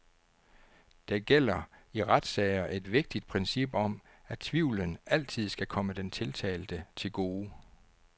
Der gælder i retssager et vigtigt princip om, at tvivlen altid skal komme den tiltalte til gode.